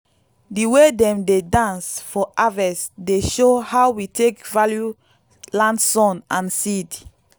the way dem dey dance for harvest dey show how we take value land sun and seed.